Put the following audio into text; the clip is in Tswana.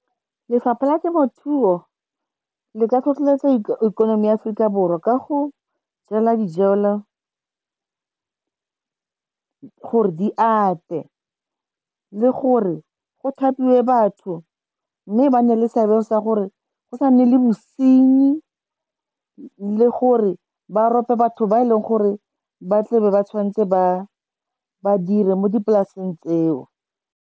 Lefapha la temothuo le ka tlhotlheletsa ikonomi ya Aforika Borwa ka go jela dijela gore di ate, le gore go thapiwe batho, mme ba na le seabe sa gore go sa nne le bosenyi le gore ba rope batho ba e leng gore ba tle be ba tshwanetse ba dire mo dipolaseng tseo.